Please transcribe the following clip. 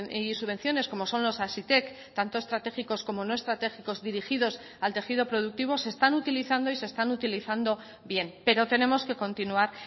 y subvenciones como son los hazitek tanto estratégicos como no estratégicos dirigidos al tejido productivo se están utilizando y se están utilizando bien pero tenemos que continuar